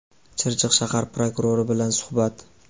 Chirchiq shahar prokurori bilan suhbat.